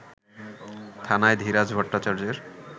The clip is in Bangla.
থানায় ধীরাজ ভট্টাচার্যের